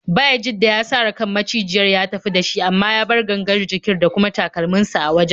Bayajidda ya sare kan macijiyar ya tafi da shi, amma ya bar gangar jikin da kuma takalminsa a wajen.